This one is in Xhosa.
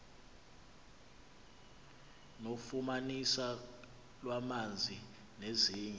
nofumaniso lwamanzi nezinye